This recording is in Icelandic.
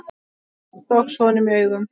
Fátt óx honum í augum.